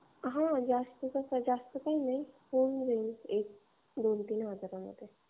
जास्त काही नाही होऊन जाईल हजार ते दोन हजार मध्ये